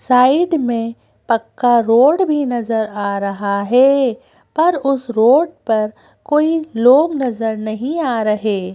Side में पक्का road भी नजर आ रहा है पर उस रोड पर कोई लोग नजर नहीं आ रहे।